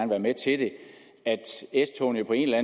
være med til det at s togene på en eller